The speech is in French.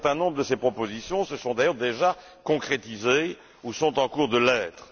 Un certain nombre de ces propositions se sont d'ailleurs déjà concrétisées ou sont en passe de l'être.